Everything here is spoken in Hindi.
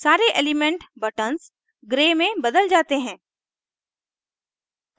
सारे element buttons grey में बदल जाते हैं